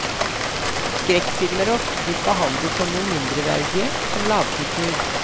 Skrekkfilmer er ofte blitt behandlet som noe mindreverdige, som lavkultur.